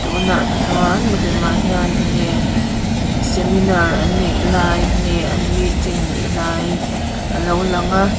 tunah chuan milem ah hian enge seminar an neih lai nge an meeting an neih lai a lo lang a.